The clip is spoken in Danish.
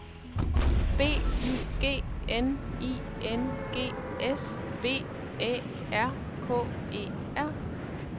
B Y G N I N G S V Æ R K E R